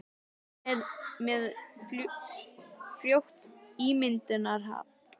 Hann er með frjótt ímyndunarafl.